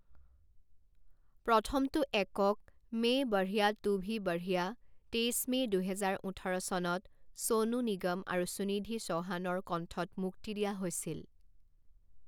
প্ৰথমটো একক, মে বঢ়িয়া তু ভি বঢ়িয়া, তেইছ মে' দুহেজাৰ ওঠৰ চনত ছনু নিগম আৰু সুনিধি চৌহানৰ কণ্ঠত মুক্তি দিয়া হৈছিল।